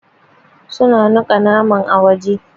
Su na niƙa naman a waje.